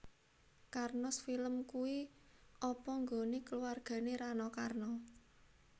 Karnos Film kui apa nggone keluargane Rano Karno?